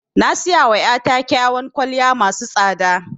Na siyawa ya ta kyawan kwalliya masu tsada